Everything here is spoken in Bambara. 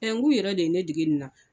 n g'u yɛrɛ de ye ne dege nin na.